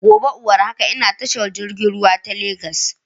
Gobe iwar haka ina tashar jirgin ruwa ta Legas